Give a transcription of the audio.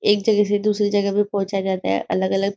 एक जगह से दूसरी जगह भी पंहुचा जाता है अलग अलग --